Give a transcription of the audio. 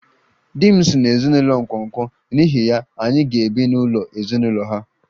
Di m si n'ezinụlọ nkwonkwo, n'ihi ya, anyị ga-ebi n'ụlọ ezinụlọ ha